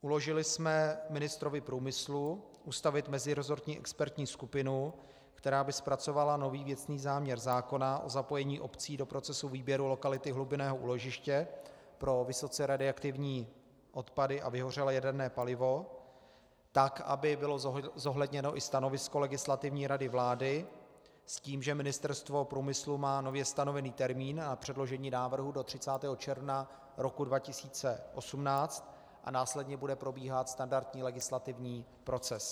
Uložili jsme ministrovi průmyslu ustavit meziresortní expertní skupinu, která by zpracovala nový věcný záměr zákona o zapojení obcí do procesu výběru lokality hlubinného úložiště pro vysoce radioaktivní odpady a vyhořelé jaderné palivo, tak aby bylo zohledněno i stanovisko Legislativní rady vlády s tím, že Ministerstvo průmyslu má nově stanovený termín na předložení návrhu do 30. června roku 2018 a následně bude probíhat standardní legislativní proces.